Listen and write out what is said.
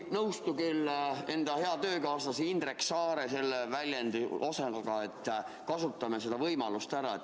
Ma ei küll ei nõustu hea töökaaslase Indrek Saare selle väljendiga, et kasutame seda võimalust ära.